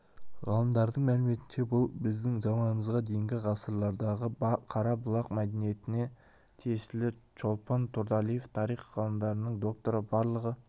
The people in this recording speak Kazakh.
ғалымдардың мәліметінше бұл біздің заманымызға дейінгі ғасырлардағы қара-бұлақ мәдениетіне тиесілі чолпон турдалиева тарих ғылымдарының докторы барлығы